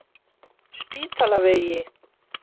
En jöfnunarmarkið lá í loftinu og það kom áður en yfir lauk.